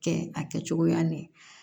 Kɛ a kɛcogoya ni